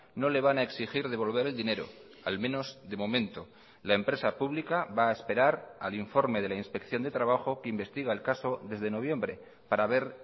no le van a exigir devolver el dinero al menos de momento la empresa pública va a esperar al informe de la inspección de trabajo que investiga el caso desde noviembre para ver